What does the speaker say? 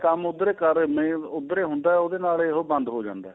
ਕੰਮ ਉੱਧਰ ਏ ਕਰ ਨਹੀੰ ਉੱਧਰ ਏ ਹੁੰਦਾ ਉਹਦੇ ਨਾਲ ਏ ਉਹ ਬੰਦ ਹੋ ਜਾਂਦਾ